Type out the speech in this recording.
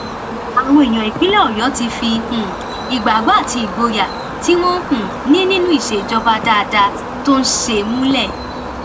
àwọn èèyàn ìpínlẹ ọyọ ti fi um ìgbàgbọ àti ìgboyà tí wọn um ní nínú ìṣèjọba dáadáa tó ń ṣe múlẹ